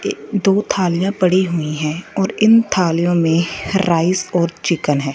दो थालियां पड़ी हुई हैं और इन थालियों में राइस और चिकन है।